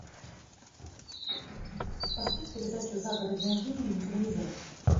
поставь передачу загородная жизнь на телевизоре